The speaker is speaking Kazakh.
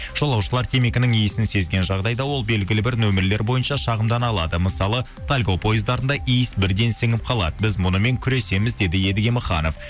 жолаушылар темекінің иісін сезген жағдайда ол белгілі бір нөмірлер бойынша шағымдана алады мысалы тальго пойыздарында иіс бірден сіңіп қалады біз мұнымен күресеміз деді едіге маханов